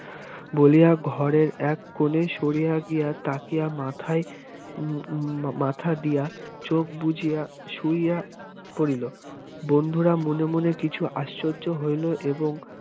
বলিয়া ঘরের এক কোণে সরিয়া গিয়া তাকিয়া মাথায় মাথা দিয়া চোখ বুজিয়া শুইয়া পড়িল বন্ধুরা মনে মনে কিছু আশ্চর্য হইল এবং